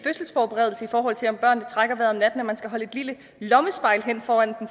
fødselsforberedelse i forhold til om børnene trækker vejret om natten at man skal holde et lille lommespejl hen foran